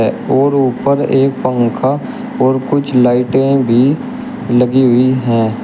और ऊपर एक पंखा और कुछ लाइटें भी लगी हुई है।